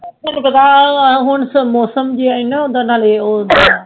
ਤਾਹਨੂੰ ਪਤਾ ਇਹ ਮੌਸਮ ਜਿਹਾ ਹੀ ਨਾ ਉਦਾ ਨਾਲੇ